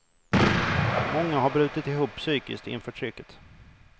Många har brutit ihop psykiskt inför trycket.